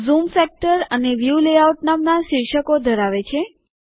zoom factor અને view layout નામના શીર્ષકો ધરાવે છે